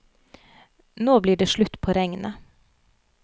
Nå blir det slutt på regnet.